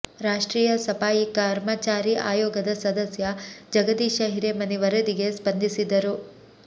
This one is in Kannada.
ರಾಷ್ಟ್ರೀಯ ಸಫಾಯಿ ಕರ್ಮಚಾರಿ ಆಯೋಗದ ಸದಸ್ಯ ಜಗದೀಶ ಹಿರೇಮನಿ ವರದಿಗೆ ಸ್ಪಂದಿಸಿದ್ದರು